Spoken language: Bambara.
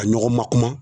A ɲɔgɔn ma kuma